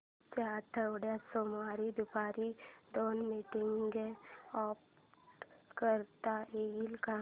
पुढच्या आठवड्यात सोमवारी दुपारी दोन मीटिंग्स अॅड करता येतील का